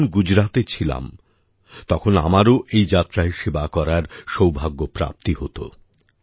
আমি যখন গুজরাতে ছিলাম তখন আমারও এই যাত্রায় সেবা করার সৌভাগ্যপ্রাপ্তি হত